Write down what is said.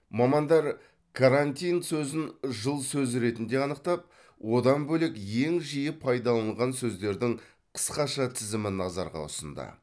мамандар карантин сөзін жыл сөзі ретінде анықтап одан бөлек ең жиі пайданылған сөздердің қысқаша тізімін назарға ұсынды